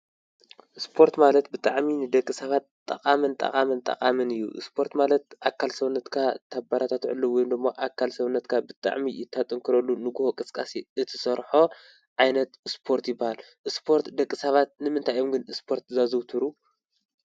ስፖርት ማለት ብጣዕሚ ንደቂ ሰባት ጠቃምን ጠቃምን ጠቃምን እዩ። ስፖርት ማለት ኣካል ሰውነትካ ተበራታተዐሉ ወይም ደሞ ኣካል ሰዉነትካ ብጣዕሚ እተጠንክረሉ ንጉሆ ቅስቃሴ እትሰርሖ ዓይነት ስፖርት ይብሃል። ስፖርት ደቂ ሰባት ንምንታይ እዮም ግን ስፖርት ዘዘዉትሩ?